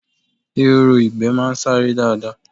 Ehoro ìgbẹ́ máa ń sáré dáadáa